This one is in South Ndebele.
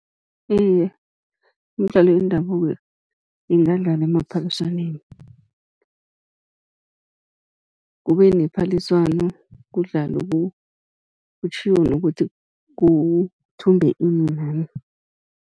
Iye, imidlalo yendabuko ingadlalwa emaphaliswaneni, kube nephaliswano kudlalwe kutjhiwo nokuthi kuthumbe ini nani.